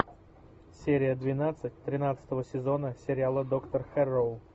серия двенадцать тринадцатого сезона сериала доктор хэрроу